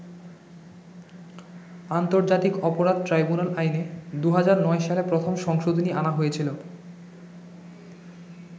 আন্তর্জাতিক অপরাধ ট্রাইবুনাল আইনে ২০০৯ সালে প্রথম সংশোধনী আনা হয়েছিল।